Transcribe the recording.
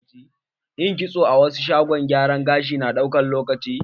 Yin kitso a wasu shagon gyaran gashi na ɗaukan lokaci.